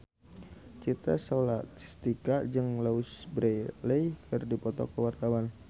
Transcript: Citra Scholastika jeung Louise Brealey keur dipoto ku wartawan